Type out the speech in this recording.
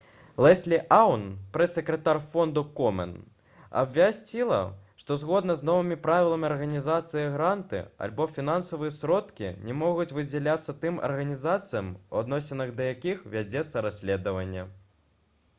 леслі аун прэс-сакратар фонду комен абвясціла што згодна з новымі правіламі арганізацыі гранты альбо фінансавыя сродкі не могуць выдзяляцца тым арганізацыям у адносінах да якіх вядзецца расследаванне